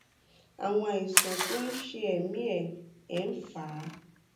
àwọn àìsàn tó ń ṣe ẹmí ẹ ẹ ń fà á